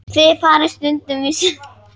Þið farið stundum í sund.